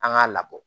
An k'a labɔ